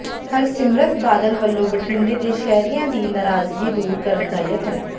ਹਰਸਿਮਰਤ ਬਾਦਲ ਵੱਲੋਂ ਬਠਿੰਡੇ ਦੇ ਸ਼ਹਿਰੀਆਂ ਦੀ ਨਾਰਾਜ਼ਗੀ ਦੂਰ ਕਰਨ ਦਾ ਯਤਨ